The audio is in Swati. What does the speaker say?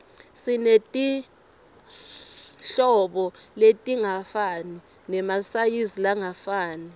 simetirhlobo letingafani nemasayizilangafani